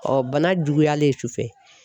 bana juguyalen sufɛ